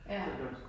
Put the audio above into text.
Ja